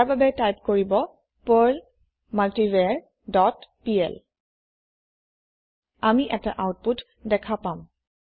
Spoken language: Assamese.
তাৰ বাবে টাইপ কৰিব পাৰ্ল মাল্টিভাৰ ডট পিএল আমি এটা আওতপুত দেখা পাম